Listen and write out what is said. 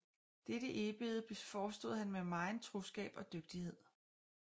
Dette Eebede forestod han med megen troskab og dygtighed